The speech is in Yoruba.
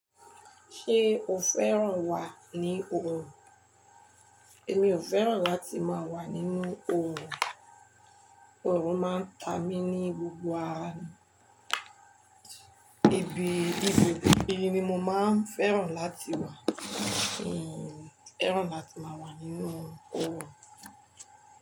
Ṣé o fẹ́ràn wà ní òòrùn? Èmi ò fẹ́ràn láti máa wà nínú òòrùn. Òòrùn máa ń ta mi ní gbogbo àra mi. Ibi, ibo, ibi ni mo máa ń fẹ́ràn láti wà. Mi fẹ́ràn láti máa wà nínú òòrùn.